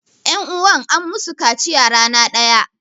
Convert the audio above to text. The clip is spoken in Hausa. Ƴanuwan an musu kaciya rana ɗaya.